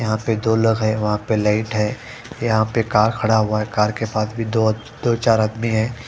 यहां पे दो लोग है वहां पे लाइट है यहां पे कार खड़ा हुआ है कार के पास भी दो दो चार आदमी है।